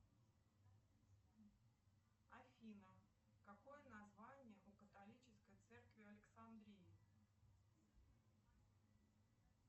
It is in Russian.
афина какое название у католической церкви в александрии